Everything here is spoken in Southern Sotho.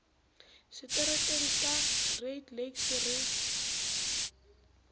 seterekeng sa great lakes re